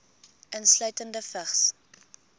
insluitende vigs